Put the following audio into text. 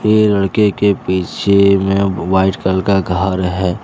ये लड़के के पीछे में वाइट कलर का घर है।